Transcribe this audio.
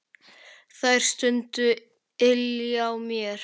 Þær stundir ylja mér.